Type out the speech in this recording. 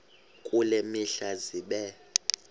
kule mihla zibe